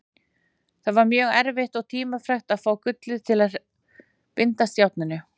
Það var mjög erfitt og tímafrekt að fá gullið til að bindast járninu.